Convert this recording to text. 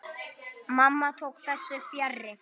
Mamma tók þessu fjarri.